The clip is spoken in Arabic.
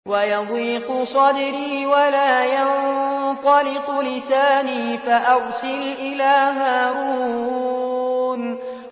وَيَضِيقُ صَدْرِي وَلَا يَنطَلِقُ لِسَانِي فَأَرْسِلْ إِلَىٰ هَارُونَ